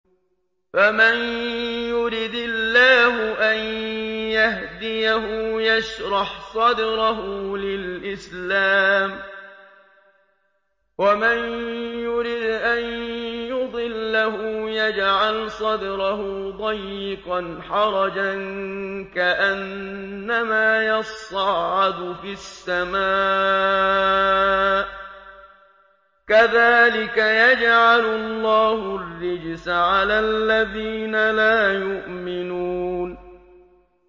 فَمَن يُرِدِ اللَّهُ أَن يَهْدِيَهُ يَشْرَحْ صَدْرَهُ لِلْإِسْلَامِ ۖ وَمَن يُرِدْ أَن يُضِلَّهُ يَجْعَلْ صَدْرَهُ ضَيِّقًا حَرَجًا كَأَنَّمَا يَصَّعَّدُ فِي السَّمَاءِ ۚ كَذَٰلِكَ يَجْعَلُ اللَّهُ الرِّجْسَ عَلَى الَّذِينَ لَا يُؤْمِنُونَ